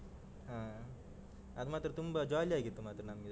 ಹ್ಮ್. ಅದು ಮಾತ್ರ ತುಂಬ jolly ಆಗಿತ್ತು ಮಾತ್ರ ನಮ್ಗೆ.